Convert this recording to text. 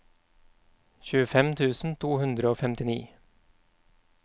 tjuefem tusen to hundre og femtini